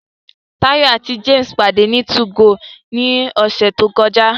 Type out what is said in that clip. Tayo àti James pàdé ní 2go ní ọ̀sẹ̀ tó kọjá